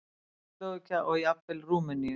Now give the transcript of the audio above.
Tékkóslóvakíu og jafnvel Rúmeníu.